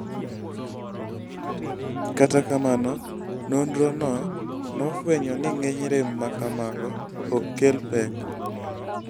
Kata kamano, nonrono nofwenyo ni ng'eny rem ma kamago ok kel pek.